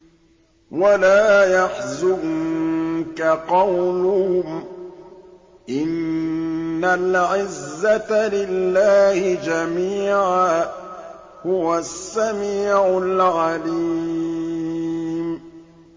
وَلَا يَحْزُنكَ قَوْلُهُمْ ۘ إِنَّ الْعِزَّةَ لِلَّهِ جَمِيعًا ۚ هُوَ السَّمِيعُ الْعَلِيمُ